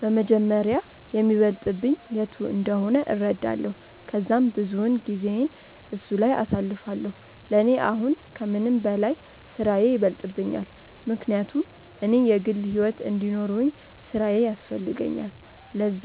በመጀመሪያ የሚበልጥብኝ የቱ እንደሆነ እረዳለው ከዛም ብዙውን ጊዜየን እሱ ላይ አሳልፋለው፤ ለኔ አሁን ከምንም በላይ ስራዬ ይበልጥብኛል ምክንያቱም እኔ የግል ሕይወት እንዲኖርውኝ ስራዬ ያስፈልገኛል ለዛ፤